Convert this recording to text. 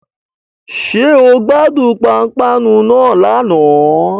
Ṣé o gbádùn pápánu náà lánàá